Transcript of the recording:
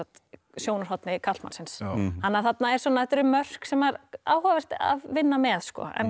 sjónarhorni karlmannsins þannig að þarna eru svona mörk sem er áhugavert að vinna með